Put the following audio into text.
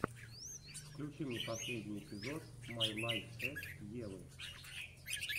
включи мне последний эпизод май лайф эс евы